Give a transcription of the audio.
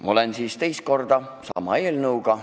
Ma olen siin teist korda sama eelnõuga.